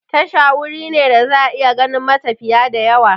Tasha wuri ne da za'a iya ganin matafiya da yawa